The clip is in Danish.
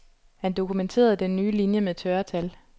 Han dokumenterede den nye linje med tørre tal.